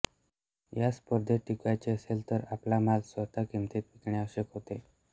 या स्पर्धेत टिकावयाचे असेल तर आपला माल स्वस्त किंमतीत विकणे आवश्यक होते